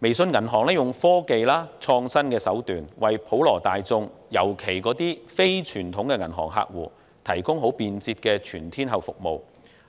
微眾銀行利用科技、創新手段，為普羅大眾，尤其是非傳統銀行客戶，提供便捷的全天候服務，